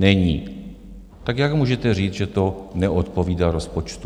Není, tak jak můžete říct, že to neodpovídá rozpočtu?